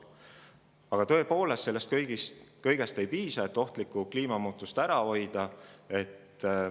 Aga tõepoolest, sellest kõigest ei piisa, et ohtlikke kliimamuutusi ära hoida.